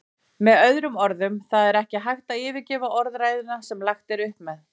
Með öðrum orðum, það er ekki hægt að yfirgefa orðræðuna sem lagt er upp með.